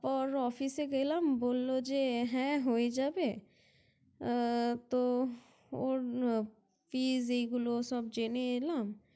Office -এ গেলাম বলল যে হ্যাঁ হয়ে যাবে আহ তো ওর Fees এগুলো সব জেনে এলাম।